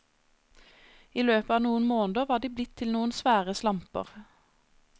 I løpet av noen måneder var de blitt til noen svære slamper.